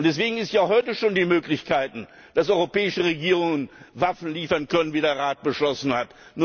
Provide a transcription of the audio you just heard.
Und es gibt ja heute schon die Möglichkeit, dass europäische Regierungen Waffen liefern können, wie der Rat beschlossen hat.